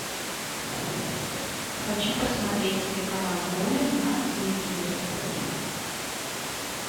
хочу посмотреть телеканал гуля на телевизоре